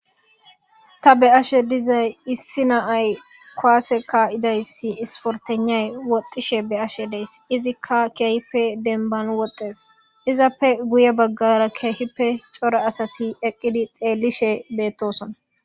Ta be'ashe dizay issi na'ay kuwase ka'idayssi isporteynay woxxishe be'ashe days izikka keehippe dembban woxxees izappe guye baggara keehippe cora asati eqqidi xeellishe beettosona.